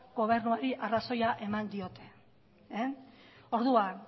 gobernuari arrazoia eman dio orduan